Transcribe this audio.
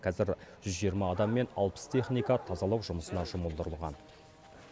қазір жүз жиырма адам мен алпыс техника тазалау жұмысына жұмылдырылған